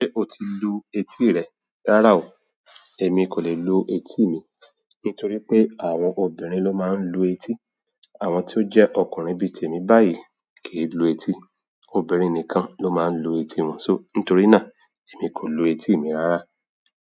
Ṣé o ti lu etí rẹ? Rárá o. Èmi kò lè lu etí mi, nítorí pé àwọn obìnrin ló máa ń lu etí. Àwọn tí ó jẹ́ ọkùnrin bí i tèmi báyìí kì í lu etí. Obìnrin nìkan ló máa ń lu etí wọn. So, nítorí náà èmi kò lu etí mi rárá.